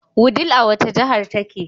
Wudil a wace jahar take?